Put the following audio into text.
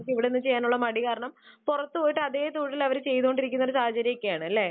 അവർക്ക് ഇവിടെനിന്ന് ചെയ്യാനുള്ള മടി കാരണം പുറത്തുപോയി അതേ ഒരു തൊഴിൽ അവര് ചെയ്തുകൊണ്ടിരിക്കുന്ന ഒരു സാഹചര്യം ഒക്കെ ആണല്ലേ?